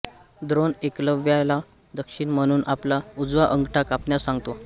द्रोण एकलव्याला दक्षिण म्हणून आपला उजवा अंगठा कापण्यास सांगतो